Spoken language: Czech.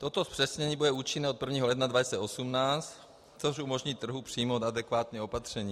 Toto zpřesnění bude účinné od 1. ledna 2018, což umožní trhu přijmout adekvátní opatření.